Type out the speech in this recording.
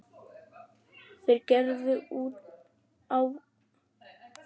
Þeir gerðu út árabát frá Hornafirði snemma á öldinni.